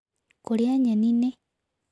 Kũrĩa nyenĩ nĩ